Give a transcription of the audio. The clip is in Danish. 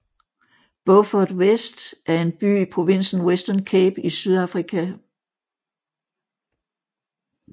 Beaufort West er en by i provinsen Western Cape i Sydafrika